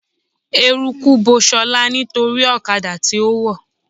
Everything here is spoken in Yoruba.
Eruku bo ṣọlá nítorí ọ̀kadà tí ó wọ̀